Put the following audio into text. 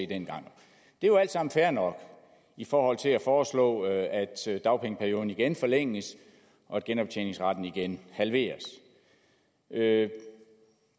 dengang det er jo alt sammen fair nok i forhold til at foreslå at dagpengeperioden igen forlænges og genoptjeningsretten igen halveres det